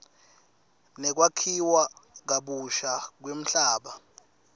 nekwakhiwa kabusha kwemhlaba